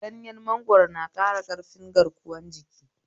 Ganyen mangwaro na ƙara ƙarfin garkuwan jiki